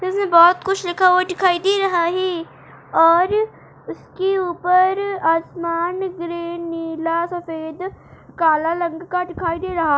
जैसे बहोत कुछ लिखा हुआ दिखाई दे रहा है और उसके ऊपर आसमान ग्रीन नीला सफ़ेद काला रंग का दिखाई दे रहा --